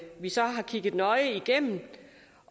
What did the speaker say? vi så har kigget nøje igennem